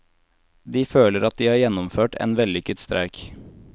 De føler at de har gjennomført en vellykket streik.